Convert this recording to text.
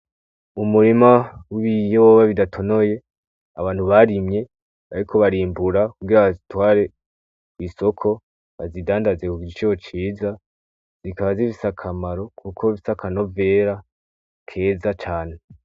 Umurima w'ibiyoba bidatonoye abantu barimye bariko barimbura kugira bazitware kw'isoko bazidandaze ku giciro ciza. Zizoba zifise akamaro kuko bifise akanovera keza cane.